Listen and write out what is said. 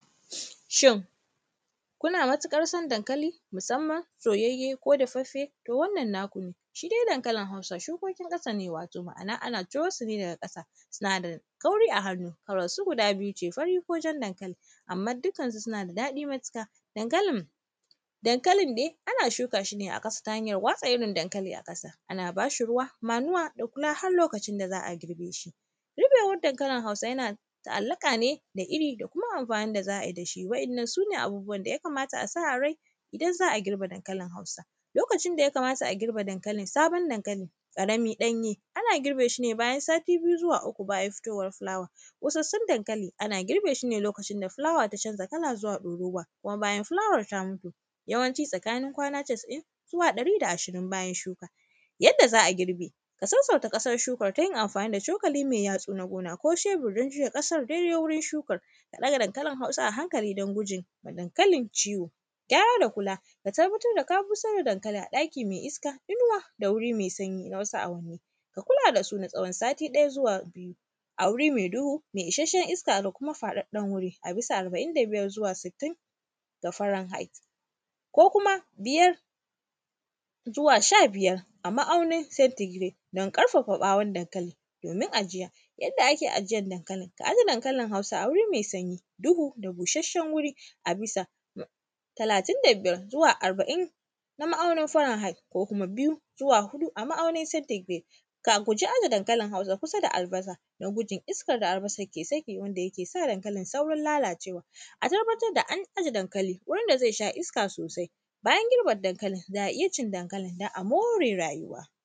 Shin, kuna matiƙar sab dankali musamman soyayye ko dafaffe? To, wannan naku ne, shi de dankalin Hausa, shukokin ƙasa ne, wato ma’ana ana ciro su ne daga ƙasa, suna da kauri a hannu. Kalarsu guda biyu ne, fariko jan dankali, amman dikansu suna da daɗi matiƙa. Dankali; dankalin dai, ana shuka shi ne a ƙasa ta hanyar watsa irin dankali a ƙasa. Ana ba shi ruwa, manuwa da kula har lokacin da za a girbe shi. Riƃewar dankalin Hausa, yana ta’allaƙa ne da iri da kuma amfanin da za ai da shi. Waɗannan, su ne abubuwan da ya kamata a sa a rai, idan za a girbe dankalin Hausa. Lokacin da ya kamata a girbe dankali, sabon dankali ƙarami ɗanye, ana girbe shi ne bayan sati biyu zuwa uku bayan fitowar filawa. Ƙosassun dankali, ana girbe shi ne lokacin da fulawa ta canza kala zuwa ɗorowa, kuma bayan fulawar ta mutu, yawanci tsakanin kwana casa’in zuwa ɗari da ashirin bayan shuka. Yadda za a girbe, ka sassauta ƙasar shukar ta yin amfani da cokali me yatsu na gona ko shebur don juya ƙasar daidai wurin shukar. A ɗaga dankalinHausa a hankali don guje yi wa dankalin ciwo. Gyara da kula, ka tabbatar da ka busar da dankalin a ɗaki me iska, inuwa da wuri me sanyi na wasu awanni. Ka kula da su na tsawon sati ɗaya zuwa biyu, a wuri me dhu, me isasshen iska da kuma faɗaɗɗen wuri, a bisa arba’in da biyar zuwa sittin ta faranhait. Ko kuma, biyar zuwa sha biyar a ma’aunin sentigiret, don ƙarfafa ƃawon dankali domin ajiya. Yadda ake ajiyan dankali, ka aje dankalin Hausa a wurin me sanyi, duhu da bushasshen wuri a bisa talatin da biyar zuwa arba’in na ma’aunin faranhai ko kuma biyu zuwa huɗu a ma’aunin sentigire. Ka guji aje dankalin Huasa kusa da albasa, don gudun ikskar da albasar ke saki wanda yake sa dankalin saurin lalacewa. A tabbatar da an aje dankali wurin da zai sha iska sosai. Bayan girbe dankalin, za a iya cin dankalin dan a more rayuwa.